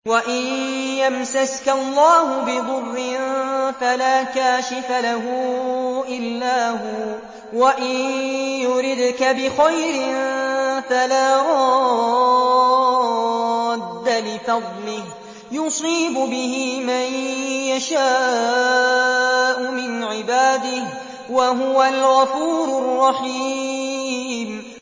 وَإِن يَمْسَسْكَ اللَّهُ بِضُرٍّ فَلَا كَاشِفَ لَهُ إِلَّا هُوَ ۖ وَإِن يُرِدْكَ بِخَيْرٍ فَلَا رَادَّ لِفَضْلِهِ ۚ يُصِيبُ بِهِ مَن يَشَاءُ مِنْ عِبَادِهِ ۚ وَهُوَ الْغَفُورُ الرَّحِيمُ